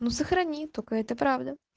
ну сохрани только это правда